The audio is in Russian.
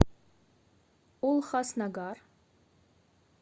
улхаснагар